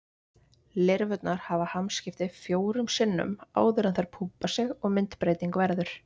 Lirfurnar hafa hamskipti fjórum sinnum áður en þær púpa sig og myndbreyting verður.